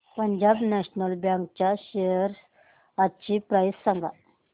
Punjab national bank च्या shares आजची price सांगा